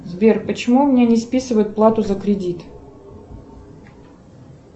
сбер почему у меня не списывают плату за кредит